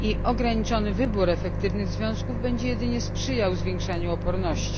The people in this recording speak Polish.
Ograniczony wybór efektywnych związków będzie jedynie sprzyjał zwiększaniu odporności.